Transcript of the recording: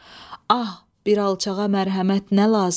Ah, bir alçağa mərhəmət nə lazım?